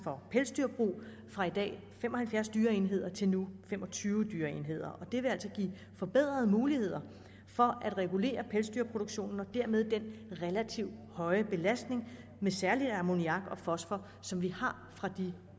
for pelsdyrbrug fra i dag fem og halvfjerds dyreenheder til nu fem og tyve dyreenheder og det vil altså give forbedrede muligheder for at regulere pelsdyrproduktionen og dermed den relativt høje belastning med særlig ammoniak og fosfor som vi har fra de